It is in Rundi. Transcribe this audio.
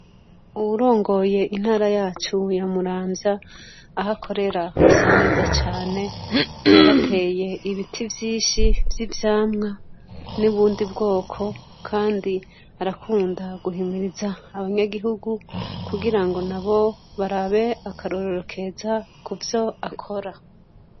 Uwurongoye intara yacu ya Muramvya, aho akorera hasa neza cane. Yarateye ibiti vyinshi vy’ivyamwa, n’ubundi bwoko kandi arakunda guhimiriza abanyagihugu, kugira nabo barabe akarorero keza ku vyo akora.